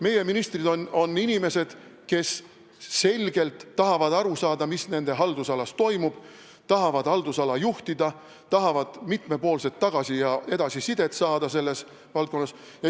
Meie ministrid on inimesed, kes tahavad selgelt aru saada, mis nende haldusalas toimub, tahavad haldusala juhtida, tahavad saada selles valdkonnas mitmepoolset tagasi- ja edasisidet.